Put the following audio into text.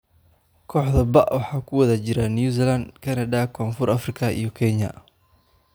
Kooxda B waxaa ku wada jira New Zealand, Canada, koon fur Afrika iyo Kenya.